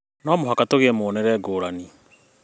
No mũhaka tũgĩe na muonere ngũrani